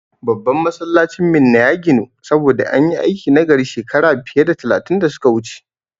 Babban Masallacin garin Minna ya ginu, saboda an yi aiki nagari shekara fiye da talatin da su ka wuce.